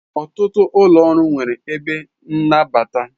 Ọtụtụ ụlọ ọrụ nwere ebe nnabata.